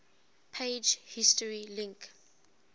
page history link